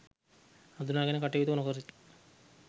හඳුනාගෙන කටයුතු නොකරති.